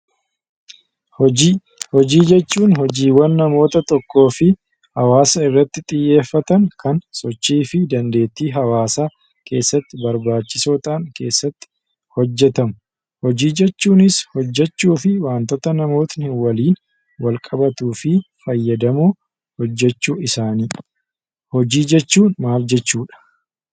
Hojii. Hojii jechuun hojiiwwan namoota tokkoo fi hawaasa irratti xiyyeeffatan kan sochii fi dandeettii hawaasaa keessatti barbaachisoo ta'an keessatti hojjetamu. Hojii jechuunis hojjechuufii waantota namootni waliin wal qabatuu fi fayyadamu hojjechuu isaanii. Hojii jechuun maal jechuudha?